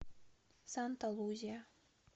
санта лузия